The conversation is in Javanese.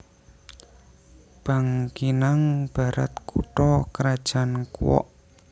Bangkinang Barat kutha krajan Kuok